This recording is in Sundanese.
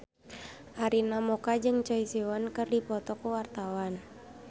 Arina Mocca jeung Choi Siwon keur dipoto ku wartawan